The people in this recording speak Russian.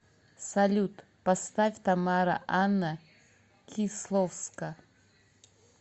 салют поставь тамара анна кисловска